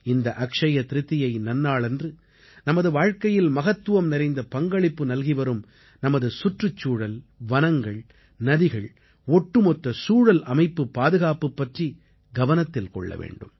இந்த அக்ஷ்ய திரிதியை நன்னாளன்று நமது வாழ்க்கையில் மகத்துவம் நிறைந்த பங்களிப்பு நல்கிவரும் நமது சுற்றுச்சூழல் வனங்கள் நதிகள் ஒட்டுமொத்த சூழல் அமைப்புப் பாதுகாப்பு பற்றி கவனத்தில் கொள்ள வேண்டும்